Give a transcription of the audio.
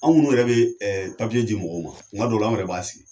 Anw minnu yɛrɛ bɛ di mɔgɔw ma, kuma dɔw la, an yɛrɛ b'a sigi.